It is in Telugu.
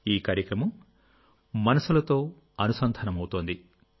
ఈ కార్యక్రమం మనస్సులతో అనుసంధానమవుతోంది